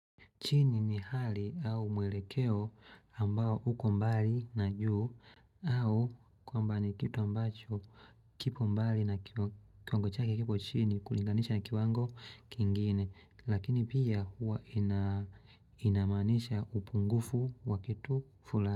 Chini ni hali au mwelekeo ambao huko mbali na juu au kwamba ni kitu ambacho kipo mbali na kiwango chake kipo chini kulinganisha na kiwango kingine lakini pia huwa inamaanisha upungufu wa kitu fulani.